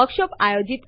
બીજા ઘણા આદેશો છે